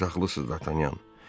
Siz ağıllısınız, Dartanyan.